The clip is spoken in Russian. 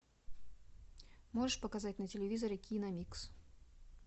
можешь показать на телевизоре киномикс